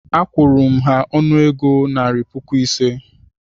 Akwụru m ha ọnụego naira puku ise